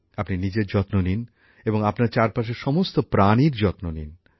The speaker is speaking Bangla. আপনি নিজের যত্ন নিন এবং আপনার চারপাশের সমস্ত প্রাণীর যত্ন নিন